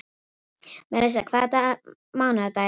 Melissa, hvaða mánaðardagur er í dag?